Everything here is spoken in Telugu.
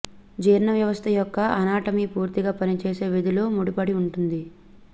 జీర్ణ వ్యవస్థ యొక్క అనాటమీ పూర్తిగా పనిచేసే విధుల ముడిపడి ఉంటుంది